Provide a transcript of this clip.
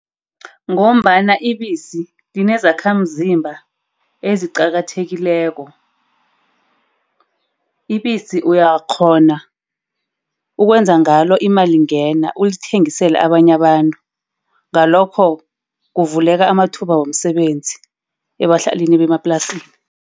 Ngombana ibisi linezakhamzimba eziqakathekileko. Ibisi uyakghona ukwenza ngalo imalingena. Ulithengisele abanye abantu. Ngalokho kuvuleka amathuba womsebenzi ebadlalini bemaplasini.